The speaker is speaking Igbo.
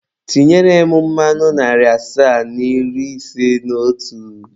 Tinyere m mmanụ narị asaa na iri ise na otu.